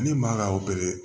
Ne man kan ka